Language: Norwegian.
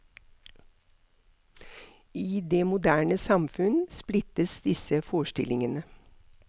I det moderne samfunn splittes disse forestillingene.